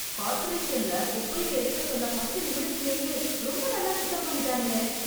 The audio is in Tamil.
கார்பரேஷன்ல குப்பையை எடுக்க சொன்ன பத்து நிமிடத்திலேயே ரொம்ப நல்லா சுத்தம் பண்ணிட்டாங்களே.